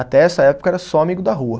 Até essa época era só amigo da rua.